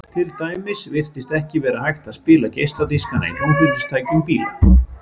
til dæmis virtist ekki vera hægt að spila geisladiskana í hljómflutningstækjum bíla